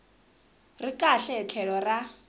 ri kahle hi tlhelo ra